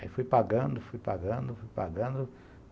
Aí fui pagando, fui pagando, fui pagando.